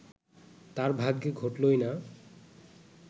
তাঁর ভাগ্যে ঘটলই না